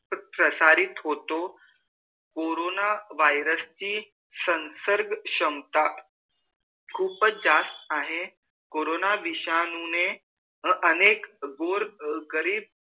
प्रसारित होतो corona virus ची संसर्ग क्षमता खूप जास्त आहे कोरोना विषाणु ने अनेक गोर गरीब